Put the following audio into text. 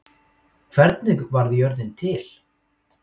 hvernig varð jörðin til